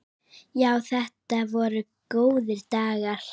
Já, þetta voru góðir dagar.